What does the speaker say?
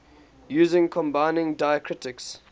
using combining diacritics